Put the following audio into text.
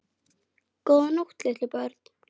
Góða nótt litlu börn.